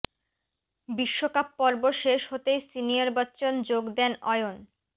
বিশ্বকাপ পর্ব শেষ হতেই সিনিয়র বচ্চন যোগ দেন অয়ন